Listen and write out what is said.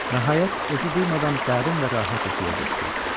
Nəhayət, özü duymadan dərin və rahat yuxuya getdi.